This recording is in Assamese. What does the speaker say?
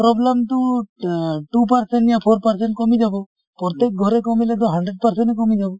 problem টো অ two percent য়া four percent কমি যাব । প্ৰত্যেক ঘৰে কমিলে গৈ hundred percent এ কমি যাব।